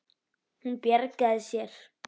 Hún bjargar sér.